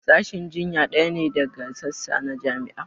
Sashin jinya ɗaya ne daga sassa na jami'a